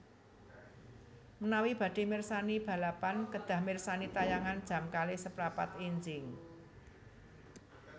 Menawi badhe mirsani balapan kedah mirsani tayangan jam kalih seprapat enjing